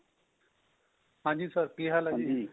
ਠੀਕ ਠਾਕ ਤੁਸੀਂ ਸਨਾਓ